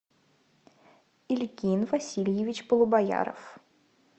ильгин васильевич полубояров